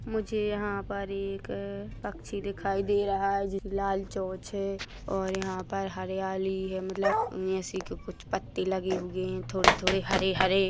मुझे यहाँ पर एक अ पक्षी दिखाई दे रहा है जिस लाल चोंच है और यहाँ पर हरियाली है मतलब ऐसे की कुछ पत्ते लगे हुए है थोड़े-थोड़े हरे-हरे--